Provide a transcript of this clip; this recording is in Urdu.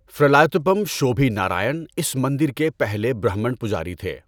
فرائیلاتپم شوبھی نارائن اس مندر کے پہلے برہمن پجاری تھے۔